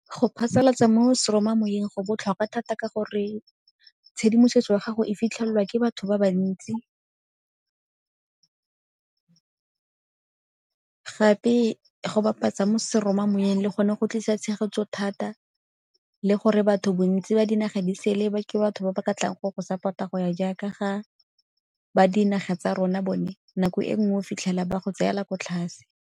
Go phasalatsa mo seromamoweng go botlhokwa thata ka gore tshedimosetso ya gago e fitlhelelwa ke batho ba bantsi gape go bapatsa mo seromamoweng le gone go tlisa tshegetso thata le gore batho bontsi ba dinaga di sele ba ke batho ba ba ka tlang go go support-a go ya jaaka ga ba dinaga tsa rona bone nako e nngwe fitlhela ba go tseela ko tlase.